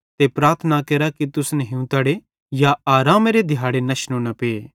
ते प्रार्थना केरा कि तुसन हिंवतड़े या आरामेरी दिहाड़ी नश्शनू न पे